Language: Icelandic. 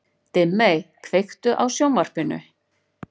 Dimmey, kveiktu á sjónvarpinu.